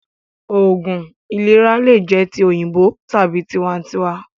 Oògún ìlera lè jẹ ti òyìnbó tàbí tiwa ǹ tiwa